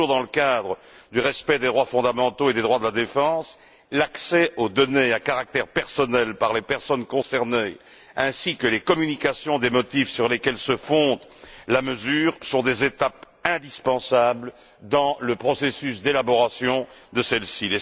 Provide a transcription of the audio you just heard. Toujours dans le cadre du respect des droits fondamentaux et des droits de la défense, l'accès aux données à caractère personnel par les personnes concernées, ainsi que les communications des motifs sur lesquels se fonde la mesure, sont des étapes indispensables dans le processus d'élaboration de celle ci.